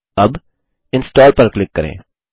अब इंस्टॉल पर क्लिक करें